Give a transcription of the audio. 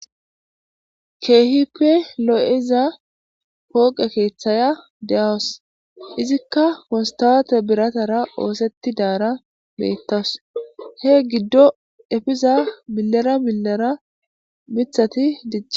Keehippe lo7iza pooqe keeththaya de7awas izikka mostaate biratara oosetti daara beettas he giddo efiza millara millara mithati dicha...